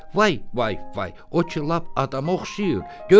Vay, vay, vay, o ki lap adama oxşayır.